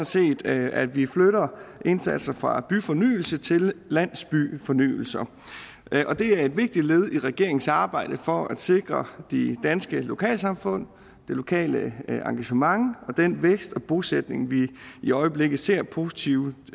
set at at vi flytter indsatser fra byfornyelse til landsbyfornyelse det er et vigtigt led i regeringens arbejde for at sikre de danske lokalsamfund det lokale engagement og den vækst og bosætning vi i øjeblikket ser positive